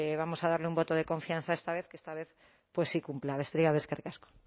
vamos a dar un voto de confianza esta vez que esta vez pues sí cumpla besterik gabe eskerrik asko